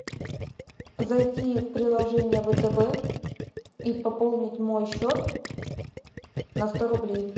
зайти в приложение втб и пополнить мой счет на сто рублей